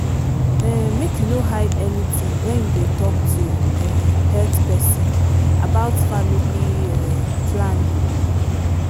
um make you no hide anything when you dey talk to um health person about family um planning.